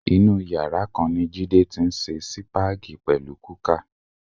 Inú yàrá kan ni Jídé ti ń se sípáàgì pẹ̀lú kúkà.